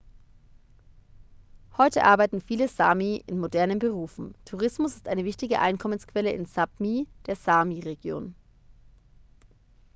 heute arbeiten viele sámi in modernen berufen. tourismus ist eine wichtige einkommensquelle in sápmi der sámi-region